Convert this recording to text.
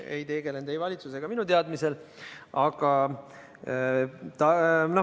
Ta ei tegutsenud ei valitsuse ega minu teadmisel.